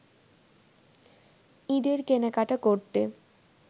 ঈদের কেনাকাটা করতে